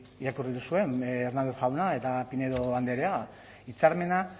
irakurri duzuen hernández jauna eta pinedo andrea hitzarmena